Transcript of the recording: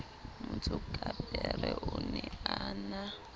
motsokapere o ne a na